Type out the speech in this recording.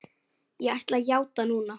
Ég ætla að játa núna.